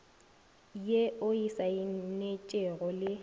ye o e saenetšego le